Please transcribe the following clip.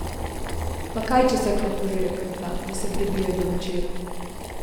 Pa kaj, če srkne požirek ali dva, da se prebije do večera?